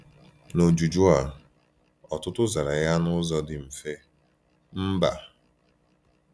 N’ọjụjụ a, ọtụtụ zara ya n’ụzọ dị mfe, “Mba.”